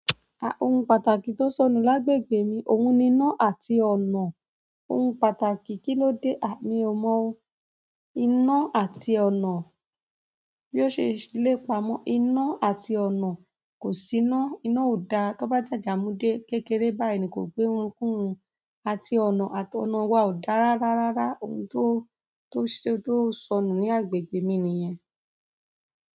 Ohun pàtàkì tó sọnù lágbègbè mi, òhun ni iná àti ọ̀nà. Ohun pàtàkì, kilode. À mi ò mọ o. Iná àti ọ̀nà. Bí ó ṣe lè pamọ́, iná àti ọ̀nà kò sí iná, iná ò da, ká bá jàjà mudé kékeré báyìí ni kò gbé run kún run. Àti ọ̀nà àti ọ̀nà wa ò dáa rárá rárá. Ohun tó, tó ṣe tó sọnù ní agbègbè mi nìyẹn.